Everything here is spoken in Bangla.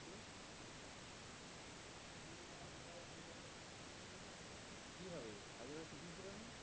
কি হবে আগের বার কিছুই ছিল না।